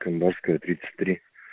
камбарская тридцать три